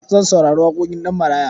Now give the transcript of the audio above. Zan saurari waƙoƙin Ɗanmaraya.